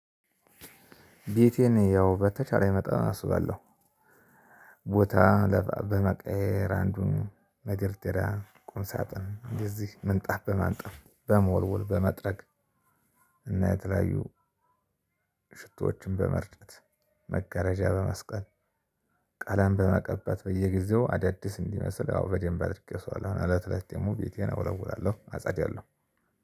ቤቴን ያው በተቻለኝ መጠን አስውባለሁ ቦታ በመቀያየር አንዱን መደርደሪያ ቁም ሳጥን እንደዚህ ምንጣፍ በማንጠፍ በመወልወል በመጥረግ እና የተለያዩ ሽቶዎችን በመርጨት መጋረጃ በመስቀል ቀለም በመቀባት በየጊዜው አዳዲስ እንዲመስል አዎ በደንብ አድርጌ አስውባለሁ እለት እለት ደግሞ ቤቴን እወለውላለሁ አጸዳለሁ።